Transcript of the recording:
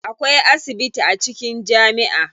Akwai asibiti a cikin jami'a.